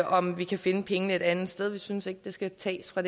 om vi kan finde pengene et andet sted vi synes ikke de skal tages fra